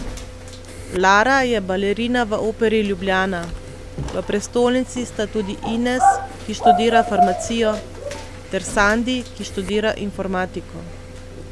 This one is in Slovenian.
Lara je balerina v Operi Ljubljana, v prestolnici sta tudi Ines, ki študira farmacijo, ter Sandi, ki študira informatiko.